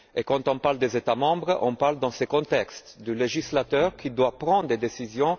Quand on parle des États membres, on parle dans ce contexte du législateur qui doit prendre des décisions.